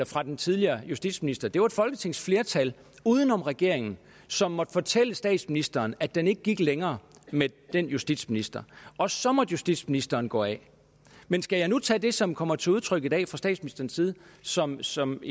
fra den tidligere justitsminister det var et folketingsflertal uden om regeringen som måtte fortælle statsministeren at den ikke gik længere med den justitsminister og så måtte justitsministeren gå af men skal jeg nu tage det som kommer til udtryk i dag fra statsministerens side som som